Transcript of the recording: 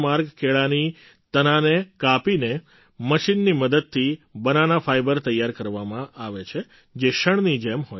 કેળાના તનાને કાપીને મશીનની મદદથી બનાના ફાઇબર તૈયાર કરવામાં આવે છે જે શણની જેમ હોય છે